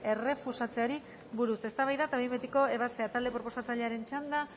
errefusatzeari buruz eztabaida eta behin betiko ebazpena talde proposatzailearen txanda